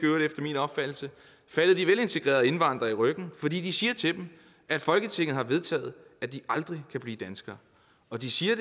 faldet de velintegrerede indvandrere i ryggen fordi de siger til dem at folketinget har vedtaget at de aldrig kan blive danskere og de siger